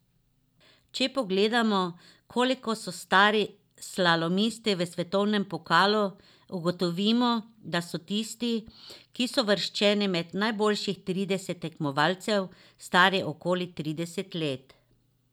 Če pogledamo, koliko so stari slalomisti v svetovnem pokalu, ugotovimo, da so tisti, ki so uvrščeni med najboljših trideset tekmovalcev, stari okoli trideset let.